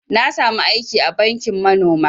Na sami aiki a banki manoma